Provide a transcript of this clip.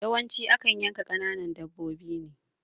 Yawanci akan yanka kananan dabbobi ne